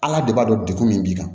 Ala de b'a dɔn degu min b'i kan